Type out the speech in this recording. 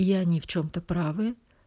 и они в чем-то правы